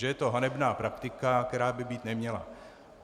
Že je to hanebná praktika, která by být neměla.